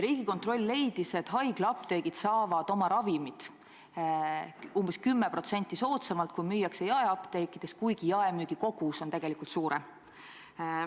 Riigikontroll leidis, et haiglaapteegid saavad oma ravimid umbes 10% soodsamalt, kui müüakse jaeapteekides, kuigi jaemüügi kogus on tegelikult suurem.